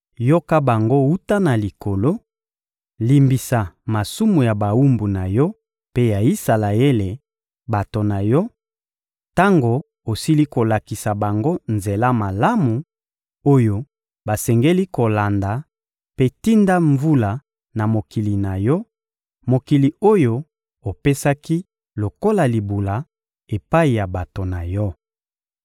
yoka bango wuta na likolo, limbisa masumu ya bawumbu na Yo mpe ya Isalaele, bato na Yo, —tango osili kolakisa bango nzela malamu oyo basengeli kolanda— mpe tinda mvula na mokili na Yo, mokili oyo opesaki lokola libula epai ya bato na Yo.